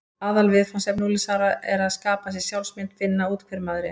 Aðalviðfangsefni unglingsáranna er að skapa sér sjálfsmynd: finna út hver maður er.